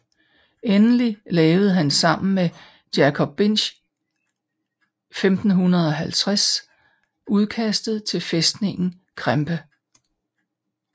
Endelig lavede han sammen med Jacob Binck 1550 udkastet til fæstningen Krempe